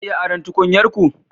Zan iya aron tukunyar ku?